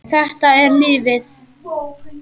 Þetta er lífið.